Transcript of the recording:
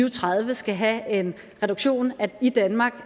og tredive skal have en reduktion i danmark